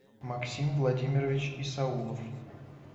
максим владимирович исаулов